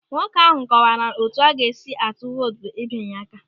Nwoke ahụ kọwaara na otu a ga-esi atụ vootu bụ ịbịnye aka.